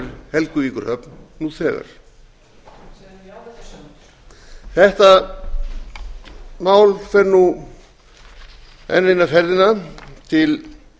hefur helguvíkurhöfn nú þegar þetta mál fer nú enn eina ferðina til